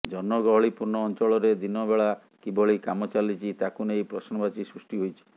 ଜନଗହଳି ପୂର୍ଣ୍ଣ ଅଞ୍ଚଳରେ ଦିନବେଳା କିଭଳି କାମ ଚାଲିଛି ତାକୁ ନେଇ ପ୍ରଶ୍ନବାଚୀ ସୃଷ୍ଟି ହୋଇଛି